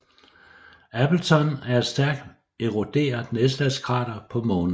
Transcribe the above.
Appleton er et stærkt eroderet nedslagskrater på Månen